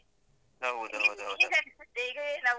ಹೌದ್ .